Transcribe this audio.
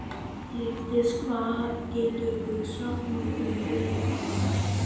Lífdís, hvað geturðu sagt mér um veðrið?